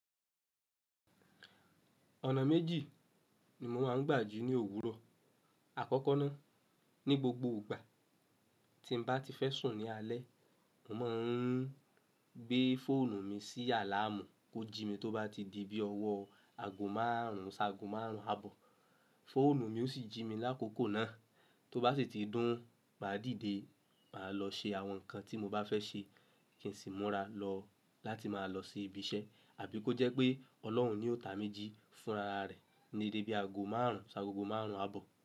Ọ̀nà méjì ni mo máa ń gbà jí ní òwúrọ̀. Àkọ́kọ́ náà, ní gbogbo ìgbà tí n bá ti fẹ́ sùn ní alẹ́, mo máa ń gbé fóònù mi sí àláàmú kó jí mi tó bá ti di bí ọwọ́ ago márùn ún sa ago márùn ún àbọ̀. Fóònù mi ó sì jí mi lákòókò náà, tó bá sì ti dún, mà á dìde, mà á lọ ṣe àwọn nǹkan tí mo bá fẹ́ ṣe kí n sì múra lọ láti máa lọ sí ibi iṣẹ́. Àbí kó jẹ́ pé Ọlọ́run ni ó ta mi ji fún rara rẹ̀ ní déde ago márùn ún si agogo márùn ún àbọ̀.